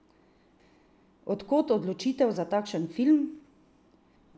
Od kod odločitev za takšen film?